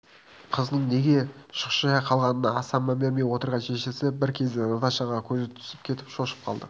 қызының неге шұқшия қалғанына аса мән бермей отырған шешесі бір кезде наташаға көзі түсіп кетіп шошып қалды